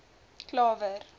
klawer